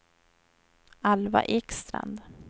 Alva Ekstrand